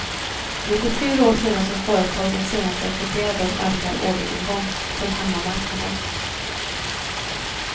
Det är fyra år sedan som företagen senast rapporterade om ökad orderingång från hemmamarknaden.